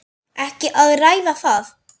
Ekki að ræða það!